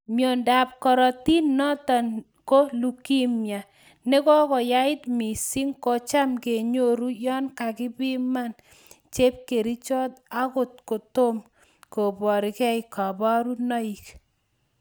Myondo ab korotik noton ko leukemia ne kakoyait missing kocham kenyoru yon kapiman chepkerichot angot kotom kobarkei kabarunoik